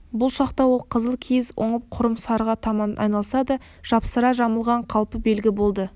бұл шақта ол қызыл киіз оңып құрым сарыға таман айналса да жапсыра жамылған қалпы белгі болды